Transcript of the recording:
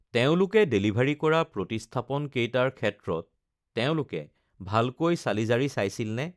তেওঁলোকে ডেলিভাৰী কৰা প্ৰতিস্থাপনকেইটাৰ ক্ষেত্ৰত তেওঁলোকে ভালকৈ চালি-জাৰি চাইছিল নে?